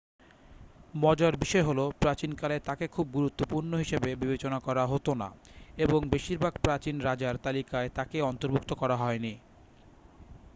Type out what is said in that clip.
মজার বিষয় হল প্রাচীনকালে তাকে খুব গুরুত্বপূর্ণ হিসাবে বিবেচনা করা হত না এবং বেশিরভাগ প্রাচীন রাজার তালিকায় তাকে অন্তর্ভুক্ত করা হয়নি